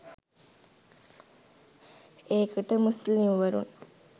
ඒකට මුස්ලිම් වරුන්